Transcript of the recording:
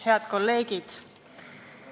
Head kolleegid!